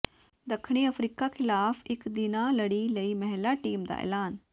ਦੱਖਣੀ ਅਫ਼ਰੀਕਾ ਖ਼ਿਲਾਫ਼ ਇਕ ਦਿਨਾਂ ਲੜੀ ਲਈ ਮਹਿਲਾ ਟੀਮ ਦਾ ਐਲਾਨ